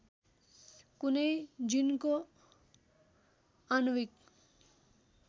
कुनै जिनको आणविक